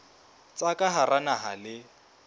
tsa ka hara naha le